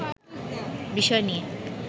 বিষয় নিয়ে